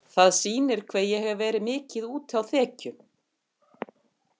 Það sýnir hve ég hef verið mikið úti á þekju.